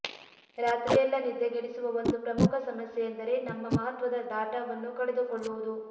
ರಾತ್ರಿಯೆಲ್ಲ ನಿದ್ದೆಗೆಡಿಸುವ ಒಂದು ಪ್ರಮುಖ ಸಮಸ್ಯೆಯೆಂದರೆ ನಮ್ಮ ಮಹತ್ವದ ಡಾಟಾವನ್ನು ಕಳೆದುಕೊಳ್ಳುವುದು